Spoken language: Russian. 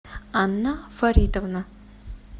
анна фаридовна